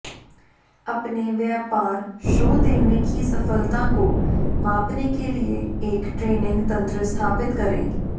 अपने व्यापार शो देने की सफलता को मापने के लिए एक ट्रैकिंग तंत्र स्थापित करें